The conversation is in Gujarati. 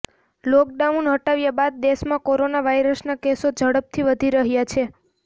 લોકડાઉન હટાવ્યા બાદ દેશમાં કોરોના વાયરસના કેસો ઝડપથી વધી રહ્યા છે